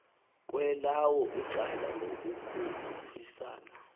kwelawo icala ngokukhuphisana